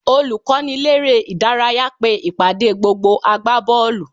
Olùkọ́niléré-ìdárayá pe ìpàdé gbogbo agbábọ́ọ̀lù